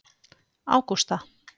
Ágústa